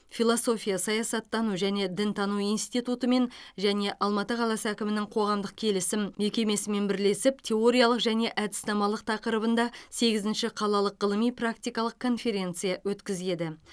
философия саясаттану және дінтану институтымен және алматы қаласы әкімінің коғамдық келісім мекемесімен бірлесіп теориялық және әдіснамалық тақырыбында сегізінші қалалық ғылыми практикалық конференция өткізеді